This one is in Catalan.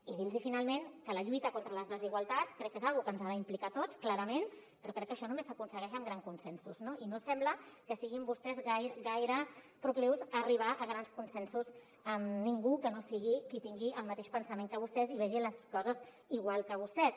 i dir los finalment que la lluita contra les desigualtats crec que és una cosa que ens ha d’implicar a tots clarament però crec que això només s’aconsegueix amb grans consensos no i no sembla que siguin vostès gaire proclius a arribar a grans consensos amb ningú que no sigui qui tingui el mateix pensament que vostès i vegi les coses igual que vostès